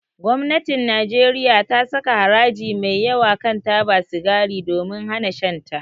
Gwamnatin Najeriya ta saka haraji mai yawa kan taba sigari domin hana shan ta.